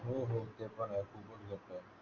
हो हो ते पण आहे